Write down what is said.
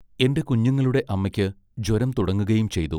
എന്റെ കുഞ്ഞുങ്ങളുടെ അമ്മയ്ക്ക് ജ്വരം തുടങ്ങുകയും ചെയ്തു.